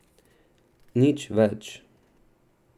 Nič več.